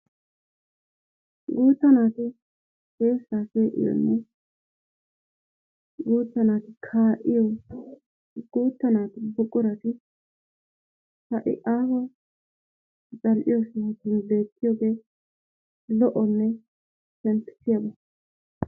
Guutta naati sheshshaa she'iyoonne guutta naati kaa'iyo guutta naatu buqurati ha'i aaho zal'iyo sohotun beettiyoogee lo'onne shemppissiyaabaa.